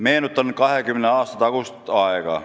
Meenutan 20 aasta tagust aega.